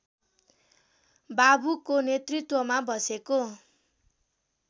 बाबुको नेतृत्वमा बसेको